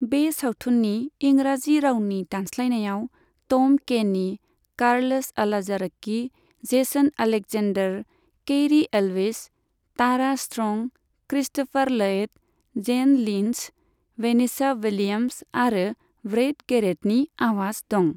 बे सावथुननि इंराजि रावनि दानस्लायनायाव Tom Kenny, Carlos Alazraqui, Jason Alexander, Cary Elwes, Tara Strong, Christopher Lloyd, Jane Lynch, Vanessa Williams आरो ब्रैड गैरेटनि आवाज दं।